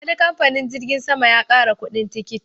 Wani kamfanin jirgin sama ya ƙara kuɗin tikiti.